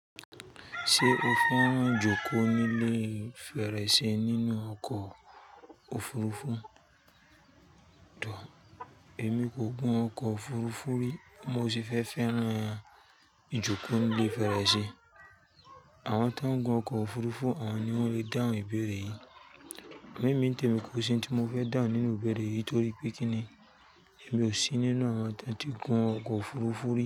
Ṣé o fẹ́ràn ìjókòó ní ilé fèrèsé nínú ọkọ̀ òfurufú? Òò, èmi kò gùn ọkọ̀ òfurufú rí mo sì fẹ́ fẹ́ràn ìjókòó ní ilé fèrèsé Àwọn tó ń gun ọkọ̀ òfurufú àwọn ni wọ́n le dáhùn ìbéèrè yìí. Èmi, mí tẹ̀mi kò sí ohun tí mo fẹ́ dáhùn nínú ìbéèrè yìí torí pé kí ni? Èmi ò sí nínú àwọn tó ti gun ọkọ̀ òfurufú rí.